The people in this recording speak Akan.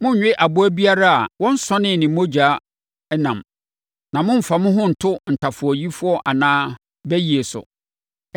“ ‘Monnwe aboa biara a wɔnsɔnee ne mu mogya ɛnam. “ ‘Na mommfa mo ho nto ntafowayie anaa bayie so.